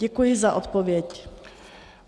Děkuji za odpověď.